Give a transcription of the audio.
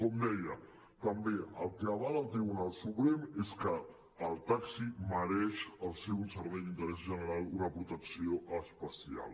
com deia també el que avala el tribunal suprem és que el taxi mereix al ser un servei d’interès general una protecció especial